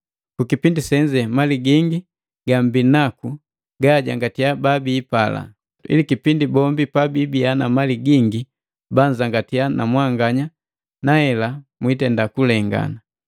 Kukipindi senze mali gingi yembinaku yajangatia babiipala, ili kipindi bombi pabibiya na mali gingi banzangatiya na mwanganya nahela kulengana.